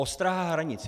Ostraha hranic.